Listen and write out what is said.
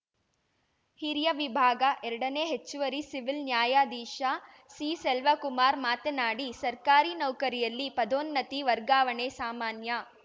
ಹಿರಿಯ ವಿಭಾಗ ಎರಡನೆ ಹೆಚ್ಚುವರಿ ಸಿವಿಲ್‌ ನ್ಯಾಯಾಧೀಶ ಸಿಸೆಲ್ವಕುಮಾರ್‌ ಮಾತನಾಡಿ ಸರ್ಕಾರಿ ನೌಕರಿಯಲ್ಲಿ ಪದೋನ್ನತಿ ವರ್ಗಾವಣೆ ಸಾಮಾನ್ಯ